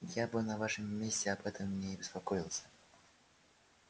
я бы на вашем месте об этом не беспокоился